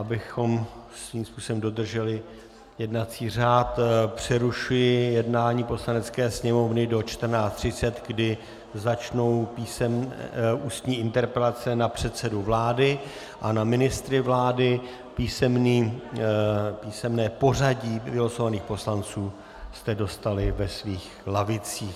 Abychom svým způsobem dodrželi jednací řád, přerušuji jednání Poslanecké sněmovny do 14.30, kdy začnou ústní interpelace na předsedu vlády a na ministry vlády, písemné pořadí vylosovaných poslanců jste dostali ve svých lavicích.